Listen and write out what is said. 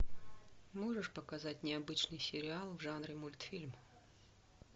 можешь показать необычный сериал в жанре мультфильм